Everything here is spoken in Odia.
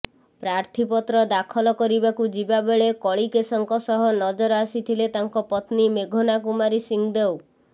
ପ୍ରାର୍ଥୀପତ୍ର ଦାଖଲ କରିବାକୁ ଯିବାବେଳେ କଳିକେଶଙ୍କ ସହ ନଜର ଆସିଥିଲେ ତାଙ୍କ ପତ୍ନୀ ମେଘନା କୁମାରୀ ସିଂହଦେଓ